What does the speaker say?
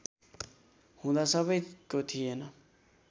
हुँदा सबैको थिएन